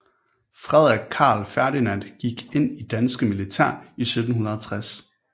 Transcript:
Frederik Carl Ferdinand gik ind det danske militær i 1760